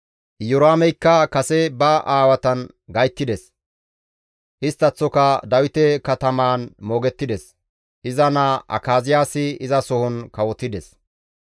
Iyoraameykka kase ba aawatan gayttides; isttaththoka Dawite katamaan moogettides; iza naa Akaziyaasi izasohon kawotides.